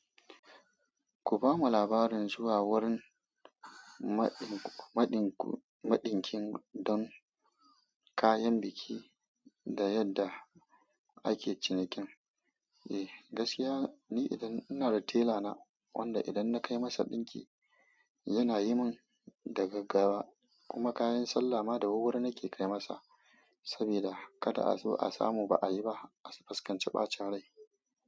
Ku ba mu labarin zuwa wurin maɗin maɗinkin don kayan biki da yadda ake cinikin. Eh, gaskiya ni idan-- ina da tela na wanda idan na kai masa ɗinki yana yi mun da gaggawa kuma kayan sallah ma dawurwuri nake kai masa saboda kada a zo a samu ba a yi ba, a fuskanci ɓata rai.